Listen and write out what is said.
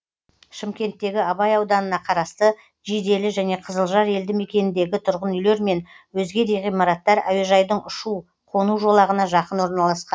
шымкенттегі абай ауданына қарасты жиделі және қызылжар елді мекеніндегі тұрғын үйлер мен өзге де ғимараттар әуежайдың ұшу қону жолағына жақын орналасқан